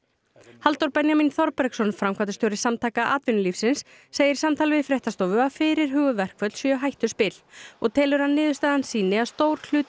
Halldór Benjamín Þorbergsson framkvæmdastjóri Samtaka atvinnulífsins segir í samtali við fréttastofu að fyrirhuguð verkföll séu hættuspil og telur að niðurstaðan sýni að stór hluti